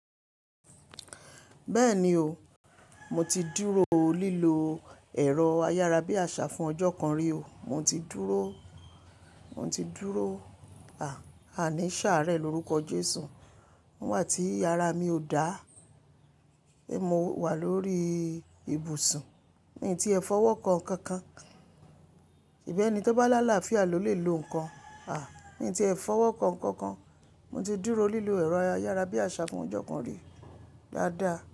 Bẹ́ẹ̀ni o, mo ti dúró lílo ẹ̀rọ ayárabíàṣá fún ọjọ́ kan rí o. Mo ti dúró, mo ti dúró, à, àní ṣàárẹ̀ lórúkọ Jésù. Nígbà tí ara mi ò dá, è mo wà lórí ibùsùn, mi ti ẹ̀ fọwọ́ kan nkankan. Ìbẹ́ẹ̀ni tó bá lá àlàáfíà ló lè lo nǹkan. À, mi ti ẹ̀ fọwọ́ kan nkankan. Mo ti dúró lílo ẹ̀rọ ayárabíàṣá fún ọjọ́ kan rí, dáadáa.